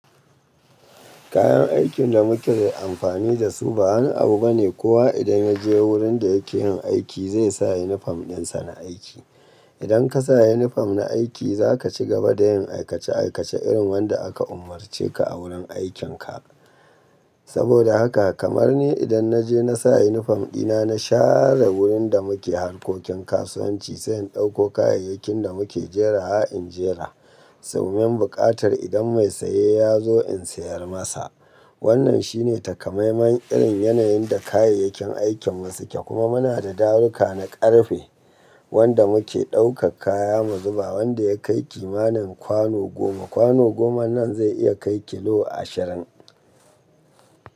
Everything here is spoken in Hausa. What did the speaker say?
Kayan aikin da muke amfani da su ba wani abu bane. Kowa idan ya je wurin da yake yin aiki zai sa yunifom ɗinsa na aiki. Idan ka sa yunifom na aiki za ka cigaba da yin aikace-aikace irin wanda aka umarce ka a wurin aikinka. Saboda haka kamar ni idan na je na sa yunifom ɗina, na share wurin da muke harkokin kasuwanci sannan ɗauko kayayyakin da muke jera in jera. Sau mayin buƙatar idan mai saye ya zo in sayar masa. Wannan shine takamaiman irin yanayin da kayayyakin aikin mu suke. Kuma muna da daruka na ƙarfe wanda muke ɗaukar kaya mu zuba. Wanda ya kai kimanin kwano goma. Kwano goma nan zai iya kai kilo ashirin.